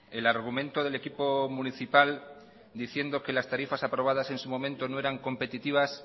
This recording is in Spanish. el argumento del equipo municipal diciendo que las tarifas aprobadas en su momento no eran competitivas